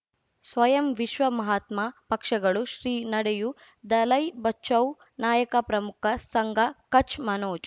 ಸ್ವಯಂ ವಿಶ್ವ ಮಹಾತ್ಮ ಪಕ್ಷಗಳು ಶ್ರೀ ನಡೆಯೂ ದಲೈ ಬಚೌ ನಾಯಕ ಪ್ರಮುಖ ಸಂಘ ಕಚ್ ಮನೋಜ್